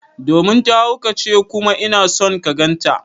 Domin ta haukace kuma ina son ka ganta.